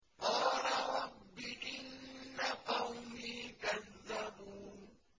قَالَ رَبِّ إِنَّ قَوْمِي كَذَّبُونِ